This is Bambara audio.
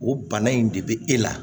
O bana in de be e la